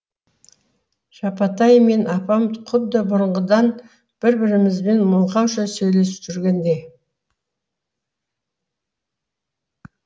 жапатай мен апам құдды бұрынғыдан бір бірімізбен мылқауша сөйлесіп жүргендей